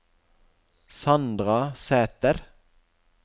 Sandra Sæter